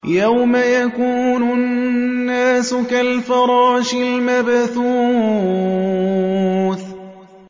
يَوْمَ يَكُونُ النَّاسُ كَالْفَرَاشِ الْمَبْثُوثِ